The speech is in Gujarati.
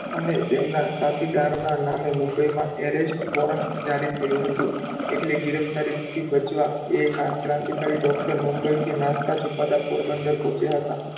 અને તેમનાં સાથીદારનાં નામે મુંબઈમાં arrest warrant જારી થયું હતું એટલે ગિરફ્તારીથી બચવાં એ ક્રાંતિકારી doctor મુંબઈથી નાસ્તા છુપાતા પોરબંદર પહોચ્યાં હતાં.